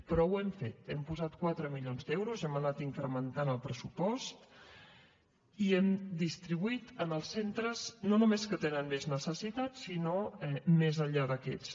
però ho hem fet hem posat quatre milions d’euros n’hem anat incrementant el pressupost i ho hem distribuït en els centres no només que tenen més necessitats sinó més enllà d’aquests